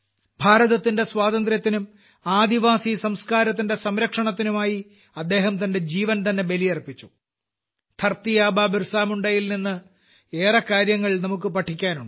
ഭാരതത്തിന്റെ സ്വാതന്ത്ര്യത്തിനും ആദിവാസി സംസ്കാരത്തിന്റെ സംരക്ഷണത്തിനും ആയി അദ്ദേഹം തന്റെ ജീവൻതന്നെ ബലിയർപ്പിച്ചു ധർത്തി ആബാ ബിർസാമുണ്ടയിൽ നിന്നു ഏറെ കാര്യങ്ങൾ നമുക്ക് പഠിക്കാനുണ്ട്